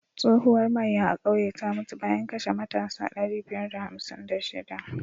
Tsohuwar maiya a kauye ta mutu bayan kashe matasa ɗari biyar da hamsin da shiɗa.